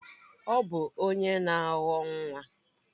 Ọ bụ onye na awọ nwa?